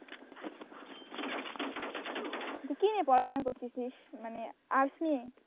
তুই কি নিয়ে পড়াশোনা করতেছিস মানে arts নিয়ে?